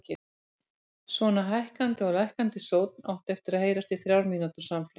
Svona hækkandi og lækkandi sónn átti að heyrast í þrjár mínútur samfleytt.